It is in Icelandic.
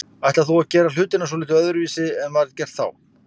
Ætlar þú að gera hlutina svolítið öðruvísi en var gert þá?